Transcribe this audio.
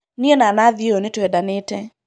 niĩ na Nathi ũyũ nĩtwendanĩte